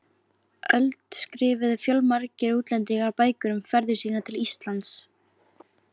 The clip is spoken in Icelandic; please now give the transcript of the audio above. öld skrifuðu fjölmargir útlendingar bækur um ferðir sínar til Íslands.